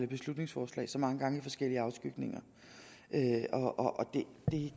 beslutningsforslag så mange gange i forskellige afskygninger og jeg